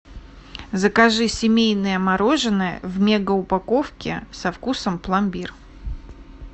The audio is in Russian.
закажи семейное мороженое в мега упаковке со вкусом пломбир